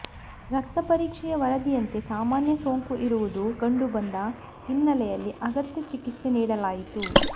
ರಕ್ತ ಪರೀಕ್ಷೆಯ ವರದಿಯಂತೆ ಸಾಮಾನ್ಯ ಸೋಂಕು ಇರುವುದು ಕಂಡುಬಂದ ಹಿನ್ನೆಲೆಯಲ್ಲಿ ಅಗತ್ಯ ಚಿಕಿತ್ಸೆ ನೀಡಲಾಯಿತು